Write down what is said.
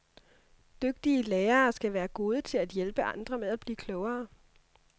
Dygtige lærere skal være gode til at hjælpe andre med at blive klogere.